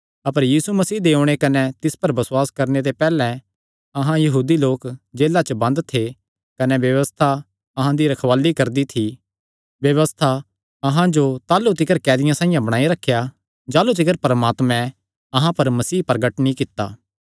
अपर यीशु मसीह दे ओणे कने तिस पर बसुआस करणे ते पैहल्लैं अहां यहूदी लोक जेला च बंद थे कने व्यबस्था अहां दी रखवाल़ी करदी थी व्यबस्था अहां जो ताह़लू तिकर कैदियां साइआं बणाई रखेया जाह़लू तिकर परमात्मैं अहां पर मसीह जो प्रगट नीं कित्ता